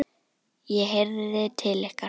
ég heyrði til ykkar!